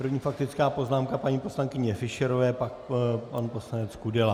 První faktická poznámka paní poslankyně Fischerové, pak pan poslanec Kudela.